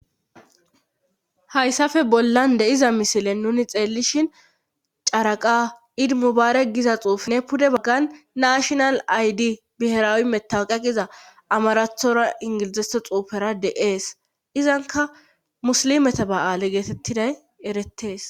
Hayssape bollan de'iza misilen nuni xeellishin caraqa idimubaare giza xuuf ne pude baggan naashonal aydi biheraawi metawqaqiza amarathora ingilizese xuufera de ees izanka musilimeta ba7aale geetettiday erettees